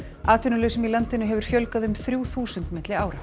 atvinnulausum í landinu hefur fjölgað um þrjú þúsund milli ára